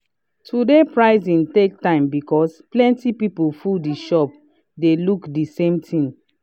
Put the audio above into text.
today pricing take time because plenty people full the shop dey look the same thing.